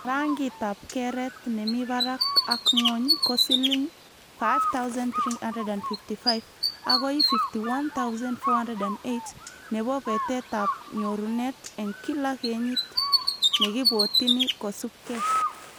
Rangitab keret nemibarak ak ngwony ko siling 5355 akoi 51,408 nebo betetab nyorunet eng kila kenyit nekibwotini, kosubke